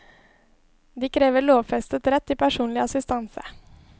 De krever lovfestet rett til personlig assistanse.